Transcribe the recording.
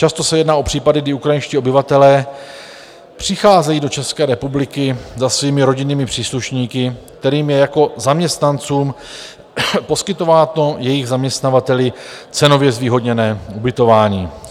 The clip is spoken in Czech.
Často se jedná o případy, kdy ukrajinští obyvatelé přicházejí do České republiky za svými rodinnými příslušníky, kterým je jako zaměstnancům poskytováno jejich zaměstnavateli cenově zvýhodněné ubytování.